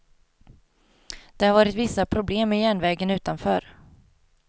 Det har varit vissa problem med järnvägen utanför.